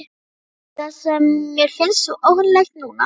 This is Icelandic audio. Það er það sem mér finnst svo óhugnanlegt núna.